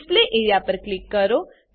display A R E A પર click કરો